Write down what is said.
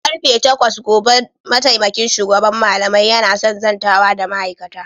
Da karfe takwas gobe mataimakin shugaban malamai yana son zantawa da ma'aikata.